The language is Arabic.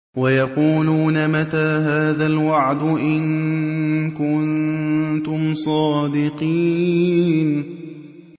وَيَقُولُونَ مَتَىٰ هَٰذَا الْوَعْدُ إِن كُنتُمْ صَادِقِينَ